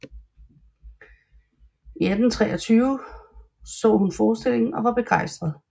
I september 1823 så hun forestillingen og var begejstret